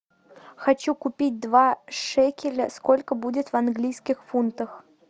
хочу купить два шекеля сколько будет в английских фунтах